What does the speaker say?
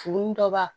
Furu ni dɔ b'a